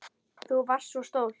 Þú varst svo stolt.